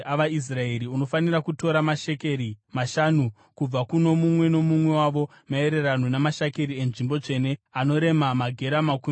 unofanira kutora mashekeri mashanu kubva kuno mumwe nomumwe wavo maererano namashekeri enzvimbo tsvene, anorema magera makumi maviri.